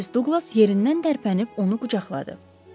Missis Duqlas yerindən tərpənib onu qucaqladı.